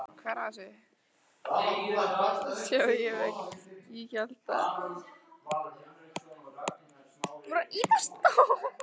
Landnámabók er til í þremur fornum gerðum.